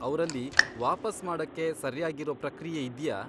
ಅವ್ರಲ್ಲಿ ವಾಪಸ್ ಮಾಡಕ್ಕೆ ಸರ್ಯಾಗಿರೋ ಪ್ರಕ್ರಿಯೆ ಇದ್ಯಾ?